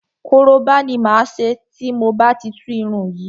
Koroba ni máa ṣe tí mo bá ti tú irun yìí.